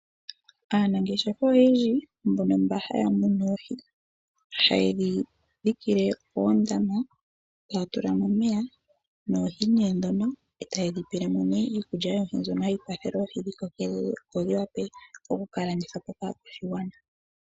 Aanangeshefa oyendji mbono mba haya munu oohi, ha yedhi dhikile oondama, taya tula mo omeya noohi nee ndhono e ta yedhi pele mo nee iikulya yoohi mbyono hayi kwathele oohi dhi koke opo dhi wape oku ka landithwa po kaakwashigwana.